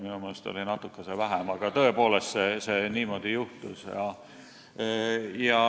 Minu meelest oli natuke vähem, aga tõepoolest niimoodi juhtus.